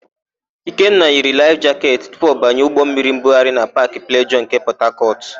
Ikenna yiri laịf jaketị tupu ọ banye ụgbọmmiri mbugharị na Paakị Plejọọ nke Pọtakọtụ.